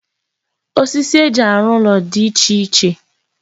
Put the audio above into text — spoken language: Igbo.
Osisi eji arụ ụlọ di iche iche.